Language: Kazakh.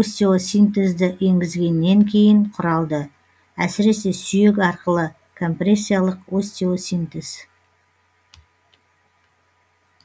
остеосинтезді енгізгеннен кейін құралды әсіресе сүйек арқылы компрессиялық остеосинтез